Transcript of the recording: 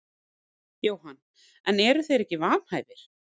Jóhann: En eru þeir ekki vanhæfir?